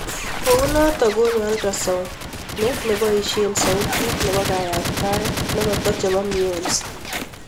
Kounotok konyo ultrasound ne nebaisie sautit nebo kayaktaet negata chebo mionzi.